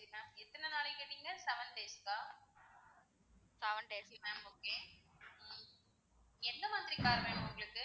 ma'am எத்தனை நாளைக்கு கேட்டீங்க seven days க்கா? seven days க்கு ma'am okay எந்த மாதிரி car வேணும் ma'am உங்களுக்கு?